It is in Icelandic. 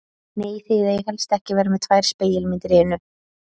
Nei, þið eigið helst ekki að vera með tvær spegilmyndir í einu.